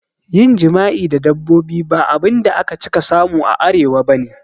Yin jima'i da dabbobi ba abinda aka cika samu a Arewa bane